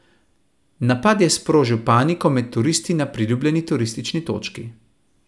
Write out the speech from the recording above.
Napad je sprožil paniko med turisti na priljubljeni turistični točki.